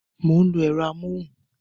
Mo ń lo ẹ̀rọ amóhùn